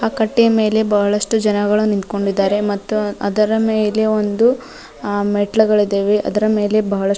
ಆ ಕಟ್ಟೆಯ ಮೇಲೆ ಬಹಳಷ್ಟು ಜನಗಳು ನಿಂತ್ಕೊಂಡಿದ್ದಾರೆ ಮತ್ತು ಅದರ ಮೇಲೆ ಒಂದು ಅ ಮೆಟ್ಟಿಲುಗಳು ಇದಾವೆ ಮತ್ತು ಅದರ ಮೇಲೆ ಬಹಳಷ್ಟು --